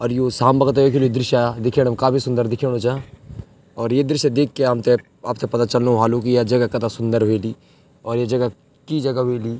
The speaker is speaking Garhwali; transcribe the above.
और यू साम बगतो एक य दृश्य दिख्येणं काफी सुन्दर दिखयोणू चा और ये दृश्य देखके हमथे आपथे पता चलनु व्हालू की या जगह कथा सुन्दर ह्वेली और ये जगह की जगह ह्वेली।